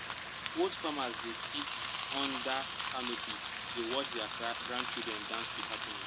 old farmers go dey sit under canopy dey watch their grandchildren dance with happiness.